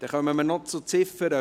Wir kommen noch zur Ziffer 5.